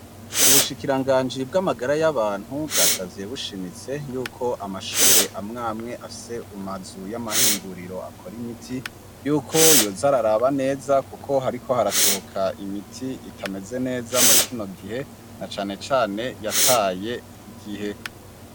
Ubushikiranganji bw'amagara y'abantu bwasavye bushimitse yuko amashure amwe amwe afise umazu y'amahinguriro akora imiti, yuko yoza araraba neza kuko hariko harasohoka imiti itameze neza muri kino gihe na cane cyane yataye igihe.